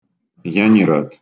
я не рад